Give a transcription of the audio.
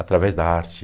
através da arte.